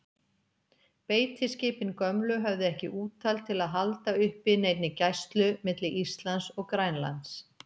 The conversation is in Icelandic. Beitiskipin gömlu höfðu ekki úthald til að halda uppi neinni gæslu milli Íslands og Grænlands.